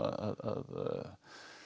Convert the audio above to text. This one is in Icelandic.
að